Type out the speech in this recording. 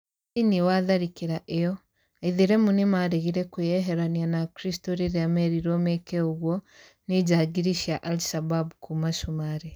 Thĩĩnĩ wa tharĩkĩra ĩyo Aĩthĩramũ nĩmaregĩre kwĩyeherania na akristo rĩrĩa merĩrwo meke ogũo nĩ jangiri cĩa Al-shabaab kũma cumarĩ